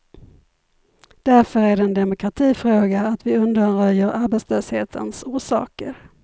Därför är det en demokratifråga att vi undanröjer arbetslöshetens orsaker.